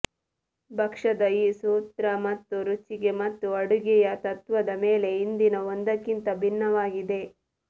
ಭಕ್ಷ್ಯದ ಈ ಸೂತ್ರ ಮತ್ತು ರುಚಿಗೆ ಮತ್ತು ಅಡುಗೆಯ ತತ್ತ್ವದ ಮೇಲೆ ಹಿಂದಿನ ಒಂದಕ್ಕಿಂತ ಭಿನ್ನವಾಗಿದೆ